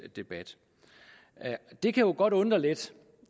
debat det kan jo godt undre lidt